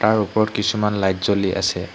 তাৰ ওপৰত কিছুমান লাইট জ্বলি আছে।